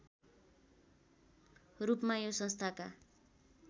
रूपमा यो संस्थाका